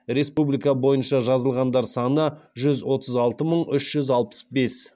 республика бойынша жазылғандар саны жүз отыз алты мың үш жүз алпыс бес